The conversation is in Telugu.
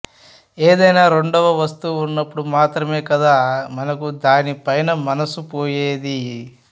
ఏదైనా రెండవ వస్తువు ఉన్నప్పుడు మాత్రమే కదా మనకు దానిపైన మనసు పోయేది